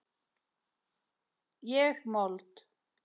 Ég mold.